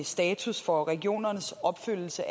status for regionernes opfølgelse